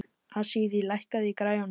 Asírí, lækkaðu í græjunum.